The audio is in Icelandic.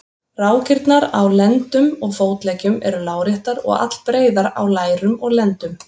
Rákirnar á á lendum og fótleggjum eru láréttar og allbreiðar á lærum og lendum.